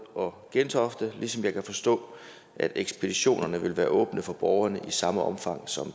og gentofte ligesom jeg kan forstå at ekspeditionerne vil være åbne for borgerne i samme omfang som